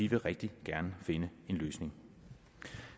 vil rigtig gerne finde en løsning